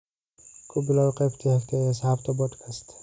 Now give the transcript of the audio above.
ku bilow qaybta xigta ee asxaabta podcast